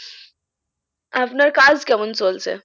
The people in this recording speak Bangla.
আপনার কাজ কেমন চলছে?